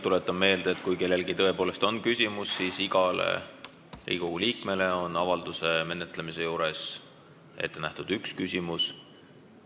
Tuletan meelde, et kui kellelgi on tõepoolest küsimus, siis igale Riigikogu liikmele on avalduse menetlemise juures ette nähtud üks küsimus.